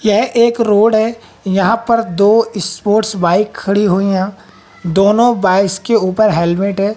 यह एक रोड है यहां पर दो स्पोर्ट्स बाइक खड़ी हुई हैं दोनों बाइक्स के ऊपर हेलमेट है।